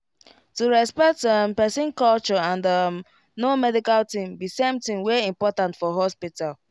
to respect um person culture and um know medical thing be same thing wey important for hospital